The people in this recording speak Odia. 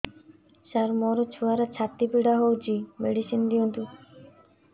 ସାର ମୋର ଛୁଆର ଛାତି ପୀଡା ହଉଚି ମେଡିସିନ ଦିଅନ୍ତୁ